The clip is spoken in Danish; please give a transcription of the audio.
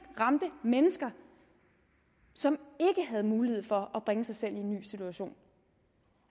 ramte mennesker som ikke havde mulighed for at bringe sig selv i en ny situation